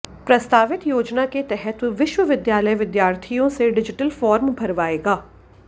प्रस्तावित योजना के तहत विश्वविद्यालय विद्यार्थियों से डिजिटल फार्म भरवाएगा